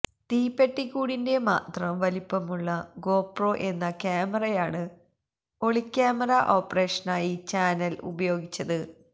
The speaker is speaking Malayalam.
തീപ്പെട്ടിക്കൂടിന്റെ മാത്രം വലിപ്പമുള്ള ഗോപ്രോ എന്ന ക്യാമറയാണ് ഒളിക്യാമറ ഓപ്പറേഷനായി ചാനൽ ഉപയോഗിച്ചത്